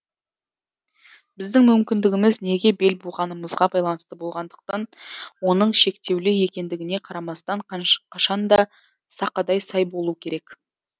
біздің мүмкіндігіміз неге бел буғанымызға байланысты болғандықтан оның шектеулі екендігіне қарамастан қашанда сақадай сай болу керек